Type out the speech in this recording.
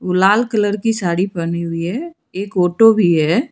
ओ लाल कलर की साड़ी पहनी हुई है एक ऑटो भी है।